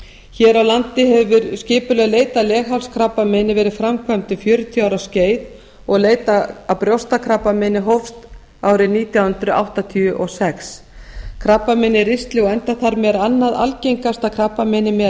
hér á landi hefur skipuleg leit að leghálskrabbameini verið framkvæmd um fjörutíu ára skeið og leit að brjóstakrabbameini hófst árið nítján hundruð áttatíu og sex krabbamein í ristli og endaþarmi er annað algengasta krabbameinið meðal